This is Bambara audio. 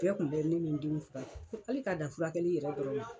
Bɛɛ kun bɛ ne ni n denw fura kɛ. Hali ka dan furakɛli yɛrɛ dɔrɔn ma.